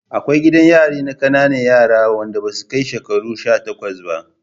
Akwai gidan yari na ƙanana yaran da basu kai shekaru sha takwas ba